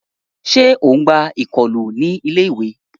Ṣe o n gbà ikọlu ní ilé-ìwé?